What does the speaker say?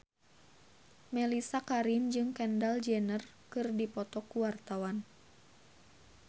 Mellisa Karim jeung Kendall Jenner keur dipoto ku wartawan